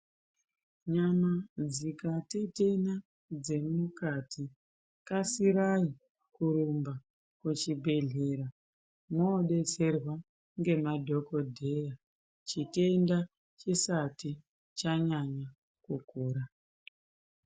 Nyama dzikatetena dzemukati , kasirai kurumba kuchibhedhlera mwodetserwa ngemadhokodheya chitenda chisati chanyanya kukura.